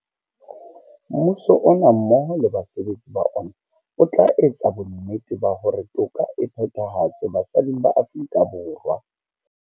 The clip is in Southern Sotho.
Mmuso ona mmoho le basebetsi ba ona o tla etsa bonnete ba hore toka e phethahatswe basading ba Aforika Borwa.